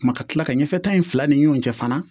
Kuma ka kila ka ɲɛfɛ ta in fila ni ɲɔgɔn cɛ fana